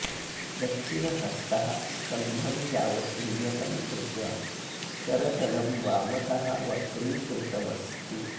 दक्षिणहस्तः स्कन्धं यावत् उन्नतं कृत्वा करतलं वामतः वक्रीकृतम् अस्ति